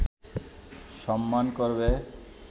সম্মান করবে